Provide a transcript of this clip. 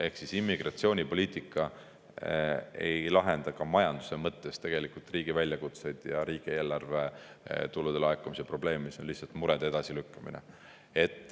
Ehk immigratsioonipoliitika ei lahenda ka majanduse mõttes tegelikult riigi väljakutseid ja riigieelarve tulude laekumise probleemi, see on lihtsalt murede edasilükkamine.